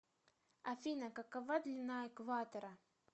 афина какова длина экватора